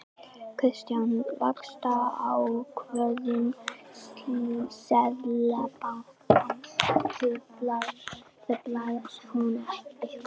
Kristján: Vaxtaákvörðun Seðlabankans, truflar hún ykkur?